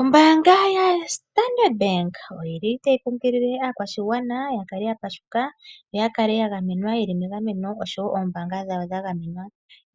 Ombaanga yaStandard Bank oyi li tayi kunkilile aakwashigwana ya kale ya pashuka yo ya kale ya gamenwa ye li megameno oshowo ombaanga dhawo dha gamenwa.